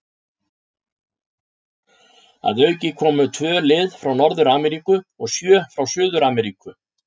Að auki komu tvö lið frá Norður-Ameríku og sjö frá Suður-Ameríku.